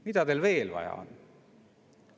Mida teil veel vaja on?